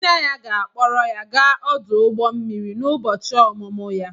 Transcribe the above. Nne ya ga-akpọrọ ya gaa ọdụ ụgbọ mmiri n'ụbọchị ọmụmụ ya